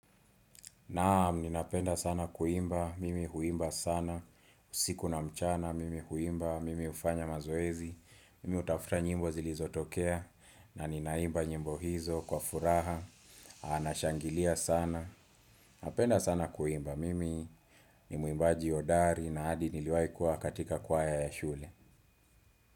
Naam, ninapenda sana kuimba, mimi huimba sana, usiku na mchana, mimi huimba, mimi hufanya mazoezi, mimi hutafuta nyimbo zilizotokea, na ninaimba nyimbo hizo, kwa furaha, nashangilia sana, napenda sana kuimba, mimi ni muimbaji hodari na hadi niliwahi kuwa katika kwaya ya shule.